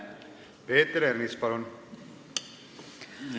Peeter Ernits, palun!